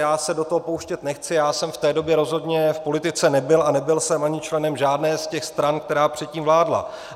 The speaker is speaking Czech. Já se do toho pouštět nechci, já jsem v té době rozhodně v politice nebyl a nebyl jsem ani členem žádné z těch stran, která předtím vládla.